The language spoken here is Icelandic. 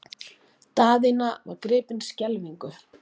Daðína var gripin skelfingu.